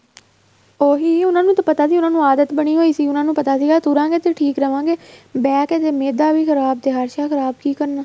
ਉਹੀ ਉਹਨਾ ਨੂੰ ਪਤਾ ਸੀ ਉਹਨਾ ਨੂੰ ਆਦਤ ਬਣੀ ਹੋਈ ਸੀ ਉਹਨਾ ਨੂੰ ਪਤਾ ਸੀਗਾ ਤੁਰਾਗੇ ਤੇ ਠੀਕ ਰਵਾਗੇ ਬਹਿਕੇ ਤੇ ਮੈਦਾ ਵੀ ਖ਼ਰਾਬ ਤੇ ਹਰ੍ਸ਼ਾ ਹੀ ਖ਼ਰਾਬ ਕੀ ਕਰਨਾ